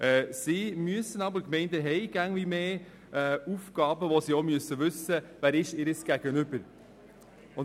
Die Gemeinden haben aber immer mehr Aufgaben, und sie müssen wissen, wer ihr Gegenüber ist.